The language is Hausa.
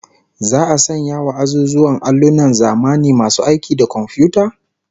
Za'a sanya wa azuzuwan allunan zamani masu aiki da komfiyuta?